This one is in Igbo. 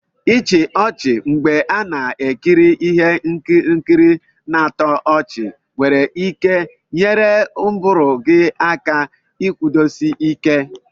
ichi ochi mgbe a na ekiri Ihe nkiri na-atọ ọchị nwere ike nyere ụbụrụ gị aka ikwudosi Ike.